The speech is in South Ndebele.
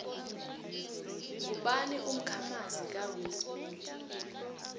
ngubani umkha manzi ka will smith